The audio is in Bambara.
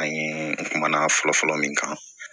An ye kuma na fɔlɔfɔlɔ min kan